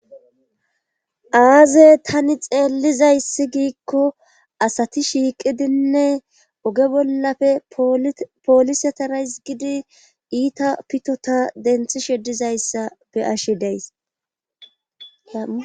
aazey tani xeellizayssi giikko asati shiiqidinne oge bollafe poolisetarays gidi iita pitota denthi sheddizayssa be7ashi deyasi